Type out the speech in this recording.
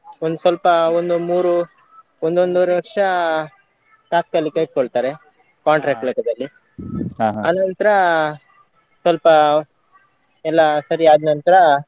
ಒಂದು ಸ್ವಲ್ಪ ಒಂದು ಮೂರು ಒಂದು ಒಂದು ಒಂದುವರೆ ವರ್ಷ ತಾತ್ಕಾಲಿಕ ಇಟ್ಕೊಳ್ತಾರೆ contract ಲೆಕ್ಕದಲ್ಲಿ ಆನಂತ್ರ ಸ್ವಲ್ಪ ಎಲ್ಲಾ ಸರಿಯಾದ್ ನಂತ್ರ.